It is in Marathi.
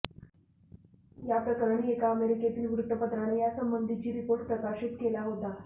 या प्रकरणी एका अमेरिकेतील वृत्तपत्राने यासंबंधीची रिपोर्ट प्रकाशित केला होता